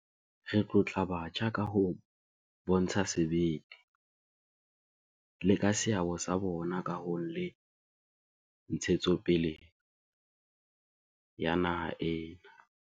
Re tlotla batjha ka ho bontsha sebete, le ka seabo sa bona kahong le ntshetsopeleng ya naha ena.